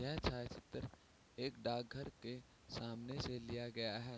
यह चलचित्र एक डाक घर के सामने से लिया गया है।